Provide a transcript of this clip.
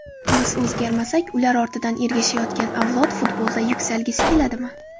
Biz o‘zgarmasak, ular ortidan ergashayotgan avlod futbolda yuksalgisi keladimi?